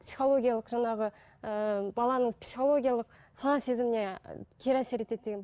психологиялық жаңағы ііі баланың психологиялық сана сезіміне кері әсер етеді деген